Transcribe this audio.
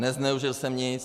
Nezneužil jsem nic!